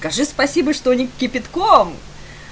скажи спасибо что не кипятком